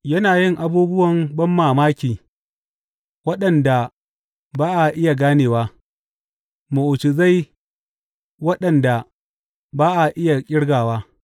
Yana yin abubuwan banmamaki waɗanda ba a iya ganewa, mu’ujizai waɗanda ba a iya ƙirgawa.